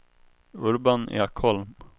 Urban Ekholm